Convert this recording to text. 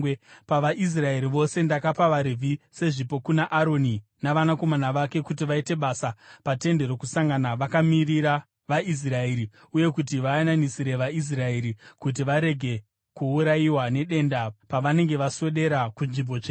PavaIsraeri vose, ndakapa vaRevhi sezvipo kuna Aroni navanakomana vake kuti vaite basa paTende Rokusangana vakamirira vaIsraeri uye kuti vayananisire vaIsraeri kuti varege kuurayiwa nedenda pavanenge vaswedera kunzvimbo tsvene.”